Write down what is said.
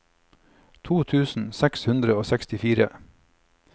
to tusen seks hundre og sekstifire